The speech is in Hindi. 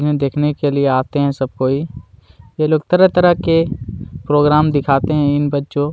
ये देखने के लिए आते है सब कोई ये लोग तरह तरह के प्रोग्राम दीखाते है इन बच्चो--